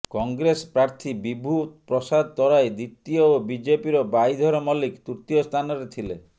କଂଗ୍ରେସ ପ୍ରାର୍ଥୀ ବିଭୂ ପ୍ରସାଦ ତରାଇ ଦ୍ୱିତୀୟ ଓ ବିଜେପିର ବାଇଧର ମଲ୍ଲିକ ତୃତୀୟ ସ୍ଥାନରେ ଥିଲେ